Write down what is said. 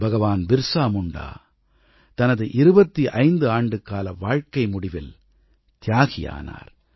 பகவான் பிர்ஸா முண்டா தனது 25 ஆண்டு கால வாழ்க்கை முடிவில் தியாகியானார்